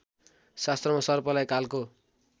शास्त्रमा सर्पलाई कालको